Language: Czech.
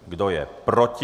Kdo je proti?